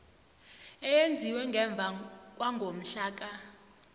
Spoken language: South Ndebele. eyenziwe ngemva kwangomhlaka